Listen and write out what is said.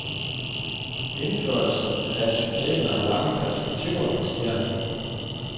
Indførelsen af systemet har lange perspektiver, siger han.